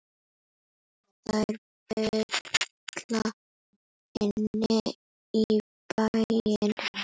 Þær baula inn í bæinn.